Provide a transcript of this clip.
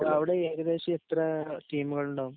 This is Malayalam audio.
അവിടെ ഏകദേശം യത്ര ടീമുകൾ ഉണ്ടാകും